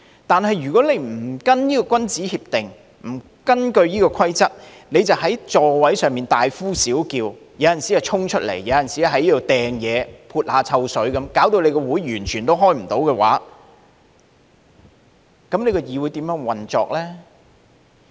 但是，如果你不跟從這項君子協定，不根據這個規則，在座位上大呼小叫、時而衝出來，有時又擲東西、潑臭水，導致無法開會，議會如何運作呢？